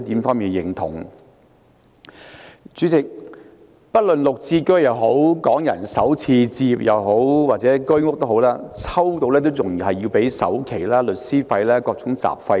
主席，市民即使抽中綠置居、港人首次置業，或者居者有其屋也好，也要支付首期、律師費和各種雜費。